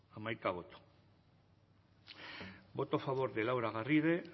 amaika boto votos a favor de laura garrido